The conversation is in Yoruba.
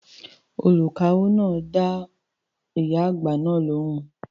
The cashier attended to the old woman